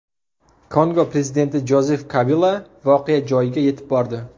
Kongo prezidenti Jozef Kabila voqea joyiga yetib bordi.